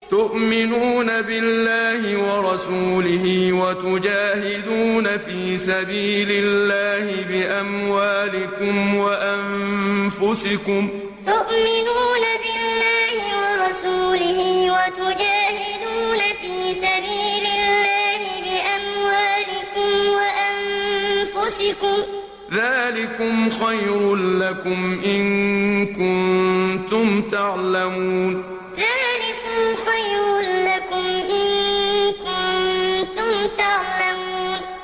تُؤْمِنُونَ بِاللَّهِ وَرَسُولِهِ وَتُجَاهِدُونَ فِي سَبِيلِ اللَّهِ بِأَمْوَالِكُمْ وَأَنفُسِكُمْ ۚ ذَٰلِكُمْ خَيْرٌ لَّكُمْ إِن كُنتُمْ تَعْلَمُونَ تُؤْمِنُونَ بِاللَّهِ وَرَسُولِهِ وَتُجَاهِدُونَ فِي سَبِيلِ اللَّهِ بِأَمْوَالِكُمْ وَأَنفُسِكُمْ ۚ ذَٰلِكُمْ خَيْرٌ لَّكُمْ إِن كُنتُمْ تَعْلَمُونَ